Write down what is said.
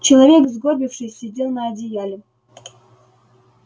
человек сгорбившись сидел на одеяле